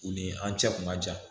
U ni an cɛ kun ka jan